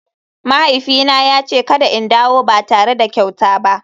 Mahaifina ya ce kada in dawo ba tare da kyauta ba.